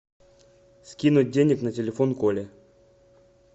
скинуть денег на телефон коле